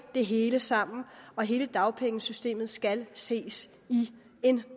det hele sammen og hele dagpengesystemet skal ses i en